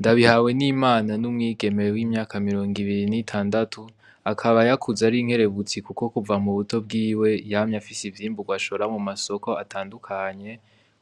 Ndabihawenimana n'umwigeme w'imyaka mirongibiri n'itandatu, akaba yakuze ar'inkerebutsi kuva mubuto bwiwe yamye afis'vyimburwa ashora mu masoko atandukanye,